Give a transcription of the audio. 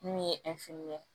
Min ye ye